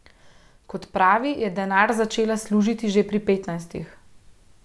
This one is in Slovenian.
Kot pravi, je denar začela služiti že pri petnajstih.